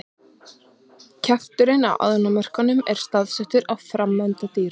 Kjafturinn á ánamöðkum er staðsettur á framenda dýranna.